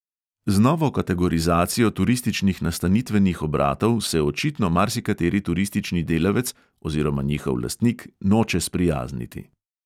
Z novo kategorizacijo turističnih nastanitvenih obratov se očitno marsikateri turistični delavec oziroma njihov lastnik noče sprijazniti.